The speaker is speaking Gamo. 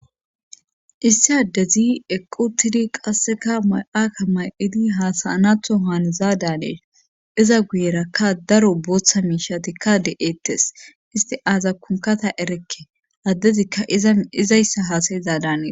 Issi addezi eqqu tidi qasseka may7akka may7idi haasayanatho haanizaadanee iza guyerakka daro booththa miishatikka de7ettes isti aaza kunkata erekke addezikka izayssa haasayizaadanee